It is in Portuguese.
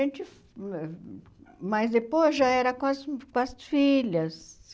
gente... Mas depois já era com as com as filhas.